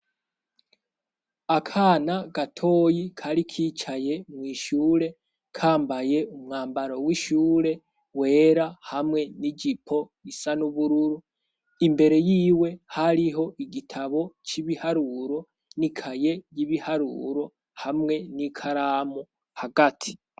Akana gatoyi kari kicaye mw'ishure kambaye umwambaro w'ishure wera hamwe n'ijipo isa nubururu, imbere yiwe hariho igitabo c'ibiharuro n'ikaye y'ibiharuro hamwe n'ikaramu hagati.